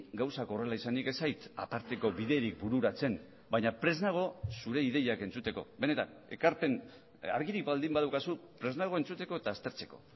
gauzak horrela izanik ez zait aparteko biderik bururatzen baina prest nago zure ideiak entzuteko benetan ekarpen argirik baldin badaukazu prest nago entzuteko eta aztertzeko